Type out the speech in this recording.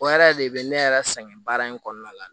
O yɛrɛ de bɛ ne yɛrɛ sɛgɛn baara in kɔnɔna la